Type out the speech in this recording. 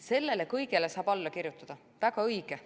Sellele kõigele saab alla kirjutada – väga õige.